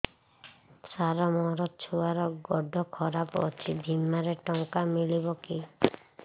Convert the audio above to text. ସାର ମୋର ଛୁଆର ଗୋଡ ଖରାପ ଅଛି ବିମାରେ ଟଙ୍କା ମିଳିବ କି